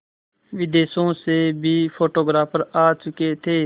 विदेशों से भी फोटोग्राफर आ चुके थे